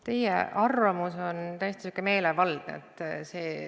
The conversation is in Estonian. Teie arvamus on täiesti meelevaldne.